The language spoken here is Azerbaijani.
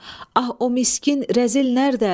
Ah, o miskin rəzil nərədə?